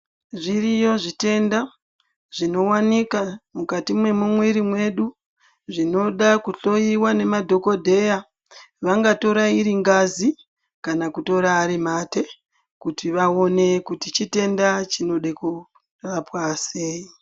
Zviriyo zvitenda ,zvinowanikwa mukati memeiiri yedu zvinoda kuhloyiwa nemadhogodheya ,vanga toye riringazi kana kutoya arimate kuti vawone kuti chitenda chinode kurapwa seyi.